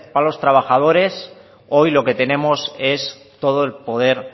para los trabajadores hoy lo que tenemos es todo el poder